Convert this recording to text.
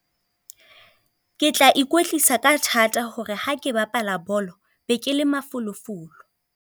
Ke tla ikwetlisa ka thata hore ha ke bapala bolo, be ke le mafolofolo.